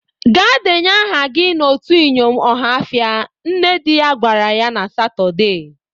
'Gaa deenye aha gi n'otu iyom Ọhafịa', nne dị ya gwara ya na Satọde.